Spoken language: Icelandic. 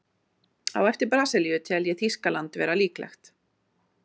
Á eftir Brasilíu tel ég Þýskaland vera líklegt.